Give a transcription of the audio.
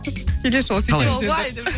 келесі жолы сөйтеміз енді